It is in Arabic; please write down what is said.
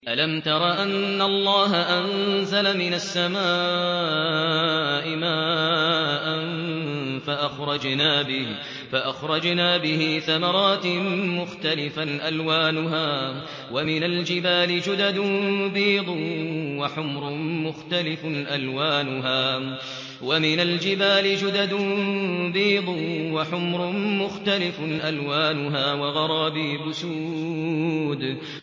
أَلَمْ تَرَ أَنَّ اللَّهَ أَنزَلَ مِنَ السَّمَاءِ مَاءً فَأَخْرَجْنَا بِهِ ثَمَرَاتٍ مُّخْتَلِفًا أَلْوَانُهَا ۚ وَمِنَ الْجِبَالِ جُدَدٌ بِيضٌ وَحُمْرٌ مُّخْتَلِفٌ أَلْوَانُهَا وَغَرَابِيبُ سُودٌ